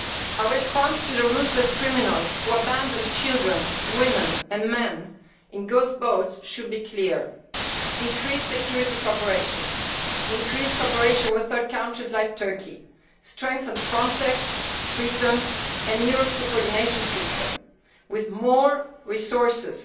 Our response to the ruthless criminals who abandon children, women and men in ghost boats should be clear increase security cooperation, increase cooperation with third countries like Turkey, strengthen Frontex, Triton and the Eurosur coordination system with more resources.